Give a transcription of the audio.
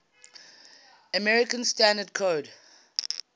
american standard code